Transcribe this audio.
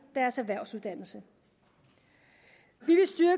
deres erhvervsuddannelse vi